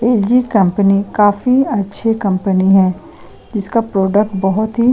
ये भी कंपनी काफी अच्छी कंपनी है जिसका प्रोडक्ट बहुत ही --